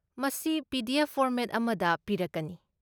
ꯃꯁꯤ PDF. Format ꯑꯃꯗ ꯄꯤꯔꯛꯀꯅꯤ ꯫